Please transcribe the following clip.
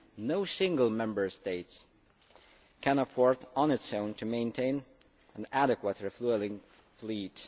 No single Member State can afford on its own to maintain an adequate refuelling fleet.